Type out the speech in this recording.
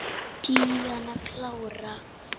Díana klára.